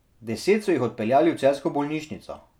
Deset so jih odpeljali v celjsko bolnišnico.